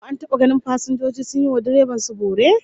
Ko an taba ganin fasinjoji sun yi wa direban su bore?